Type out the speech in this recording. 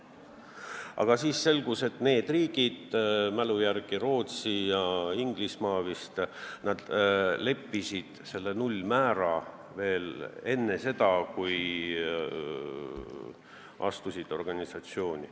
Aga selgus ka see, et need riigid – minu mälu järgi Rootsi ja Inglismaa – kehtestasid nullmäära enne seda, kui nad astusid liitu.